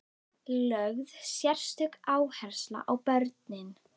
Lögð sérstök áhersla á börnin.